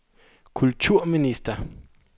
kulturminister